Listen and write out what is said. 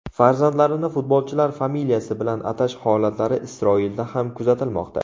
Farzandlarini futbolchilar familiyasi bilan atash holatlari Isroilda ham kuzatilmoqda.